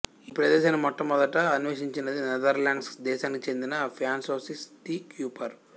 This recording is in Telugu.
ఈ ప్రదేశాన్ని మొట్టమొదట అన్వేషించినది నెదర్లాండ్స్ దేశానికి చెందిన ఫ్రాన్సోయిస్ డీ క్యూపర్